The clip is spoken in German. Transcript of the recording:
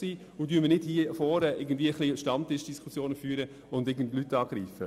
Hören wir auf, hier vorne ein wenig Stammtischdiskussionen zu führen und gewisse Leute anzugreifen.